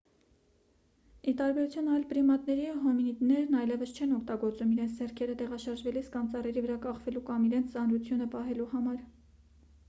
ի տարբերություն այլ պրիմատների հոմինիդներն այլևս չեն օգտագործում իրենց ձեռքերը տեղաշարժվելիս կամ ծառերի վրա կախվելու կամ իրենց ծանրությունը պահելու համար